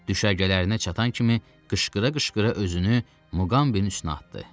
Düşərgələrinə çatan kimi qışqıra-qışqıra özünü Muqambinin üstünə atdı.